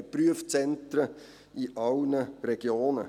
Wir haben Prüfzentren in allen Regionen.